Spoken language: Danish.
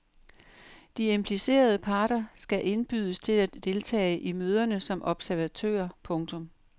De implicerede parter skal indbydes til at deltage i møderne som observatører. punktum